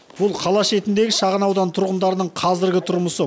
бұл қала шетіндегі шағын аудан тұрғындарының қазіргі тұрмысы